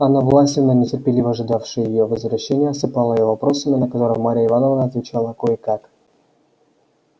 анна власьевна нетерпеливо ожидавшая её возвращения осыпала её вопросами на которые марья ивановна отвечала кое-как